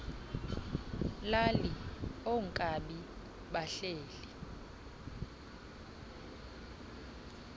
lali oonkabi bahleli